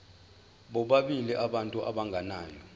bobabili abantu abagananayo